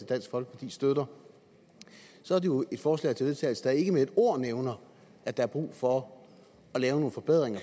dansk folkeparti støtter jo er et forslag til vedtagelse der ikke med et ord nævner at der er brug for at lave nogle forbedringer